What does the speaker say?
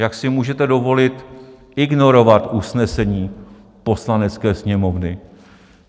Jak si můžete dovolit ignorovat usnesení Poslanecké sněmovny?